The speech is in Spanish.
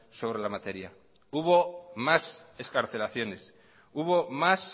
sobre la materia hubo más excarcelaciones hubo más